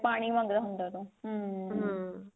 ਪਾਣੀ ਮੰਗਦਾ ਹੁੰਦਾ ਉਦੋਂ ਹਮ